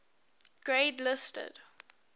grade listed